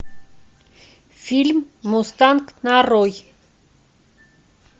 фильм мустанг нарой